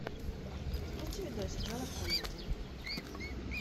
запусти видосик жанр комедия